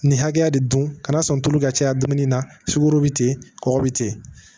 Nin hakɛya de dun ka n'a sɔn tulu ka ca dumuni na sukoro be ten kɔgɔ be ten